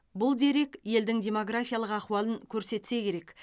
бұл дерек елдің демографиялық ахуалын көрсетсе керек